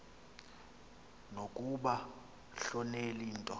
nokunga hloneli nto